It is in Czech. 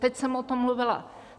Teď jsem o tom mluvila.